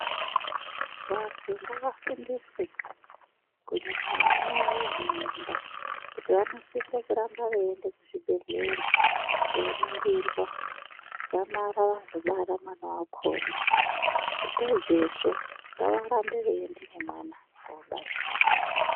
Vantu ngavafundiswe kunyanya vanamai vane mimba. Kuti vanosise kuramba veiende kuzvibhedhlera koningirwa. Dzamara vazobara mwana vakona, pedzezvo ngavarambe veienda nemwana kobaisa.